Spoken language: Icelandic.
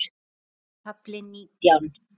KAFLI NÍTJÁN